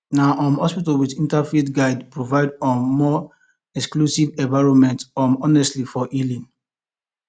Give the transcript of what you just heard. na um hospitals with interfaith guidelines provide um more inclusive environments um honestly for healing